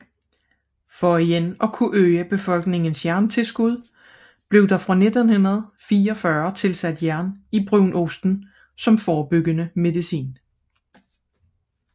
For igen at øge befolkningens jerntilskud blev der fra 1944 tilsat jern i brunosten som forebyggende medicin